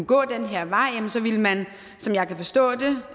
gå den her vej ville man som jeg forstår